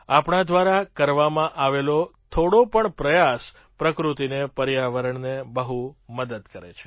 આપણા દ્વારા કરવામાં આવેલો થોડો પણ પ્રયાસ પ્રકૃતિને પર્યાવરણને બહુ મદદ કરે છે